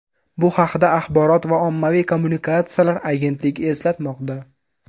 Bu haqda Axborot va ommaviy kommunikatsiyalar agentligi eslatmoqda .